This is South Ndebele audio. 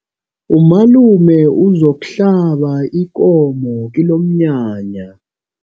Umalume uzokuhlaba ikomo kilomnyanya.